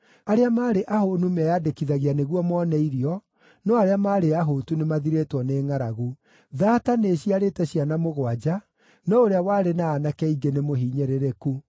Arĩa maarĩ ahũũnu meyandĩkithagia nĩguo mone irio, no arĩa maarĩ ahũtu nĩmathirĩtwo nĩ ngʼaragu. Thaata nĩĩciarĩte ciana mũgwanja, no ũrĩa warĩ na aanake aingĩ nĩmũhinyĩrĩrĩku.